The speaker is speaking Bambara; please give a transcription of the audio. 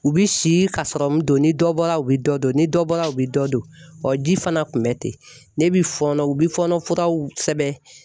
U bi si ka sɔrɔmun don ni dɔ bɔra u bi dɔ don ni dɔ bɔra u bi dɔ don ji fana kun bɛ ten ne bi fɔɔnɔ u bi fɔɔnɔ u bɛ fɔɔnɔ furaw sɛbɛn.